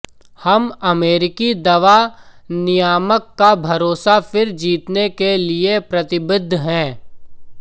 हम अमेरिकी दवा नियामक का भरोसा फिर जीतने के लिए प्रतिबद्घ हैं